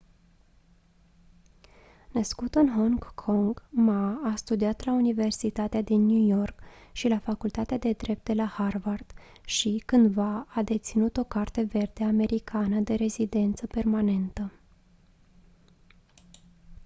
născut în hong kong ma a studiat la universitatea din new york și la facultatea de drept de la harvard și cândva a deținut o carte verde americană de rezidență permanentă